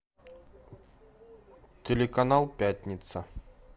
телеканал пятница